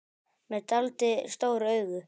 Með dáldið stór augu.